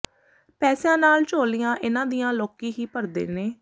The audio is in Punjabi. ਪੈਸਿਆਂ ਨਾਲ ਝੋਲੀਆਂ ਇਹਨਾਂ ਦੀਆਂ ਲੋਕੀਂ ਹੀ ਭਰਦੇ ਨੇ